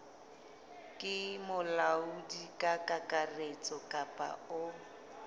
ke molaodi kakaretso kapa o